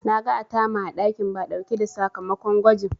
Na ga Atama a ɗakin Ba ɗauke da sakamakon gwajin.